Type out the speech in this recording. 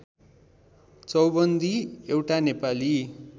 चौबन्दी एउटा नेपाली